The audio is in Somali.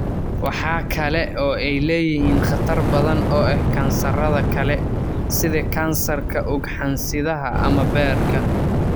Waxa kale oo ay leeyihiin khatar badan oo ah kansarrada kale, sida kansarka ugxansidaha ama beerka.